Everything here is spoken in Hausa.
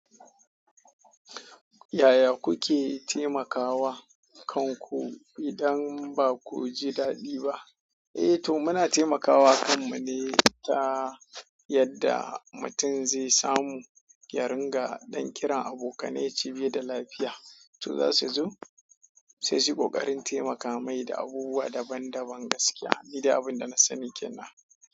Yaya kuke taimakawa kanku idan ba ku ji daɗi ba? Eh to muna taimakawa kanmu ne ta yadda mutum zai samu ya ringa don kiran abokanai yace bai da lafiya. To za su zo sai su ƙoƙarin taimaka mai da abubuwa daban-daban gaskiya. Ni da abin da na sani kenan.